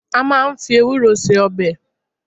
A máà ń fi ewúro se ọbẹ̀